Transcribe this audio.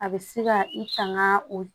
A bɛ se ka i tanga o